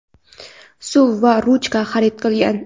suv va ruchka xarid qilgan.